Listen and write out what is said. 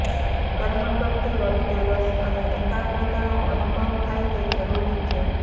કર્મ કરતી વખતે રસ અને એકાગ્રતાનો અનુભવ થાય તે જરૂરી છે